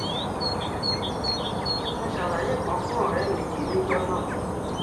mo ṣàlàyé kan fún ọ̀rẹ́ mi yìí níjọ náà